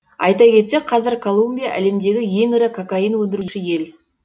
айта кетсек қазір колумбия әлемдегі ең ірі кокаин өндіруші ел